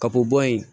Ka bɔ bo yen